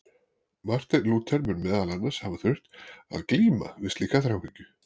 Marteinn Lúther mun meðal annars hafa þurft að glíma við slíka þráhyggju.